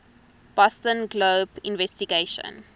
boston globe investigation